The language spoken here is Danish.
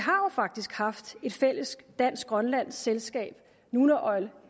faktisk har haft et fælles dansk grønlandsk selskab nunaoil